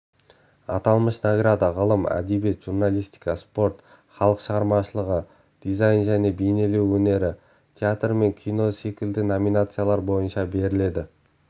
аталмыш награда ғылым әдебиет журналистика спорт халық шығармашылығы дизайн және бейнелеу өнері театр мен кино секілді номинациялар бойынша беріледі